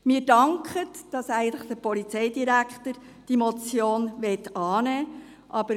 Wir danken dem Polizeidirektor, dass er diese Motion annehmen will.